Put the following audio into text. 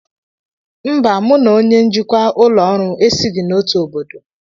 Mba, mụ na onye njikwa ụlọ ọrụ esighị n'otu obodo